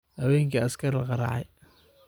Hawenki askari lagaracaye .